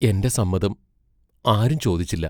എന്റെ സമ്മതം ആരും ചോദിച്ചില്ല.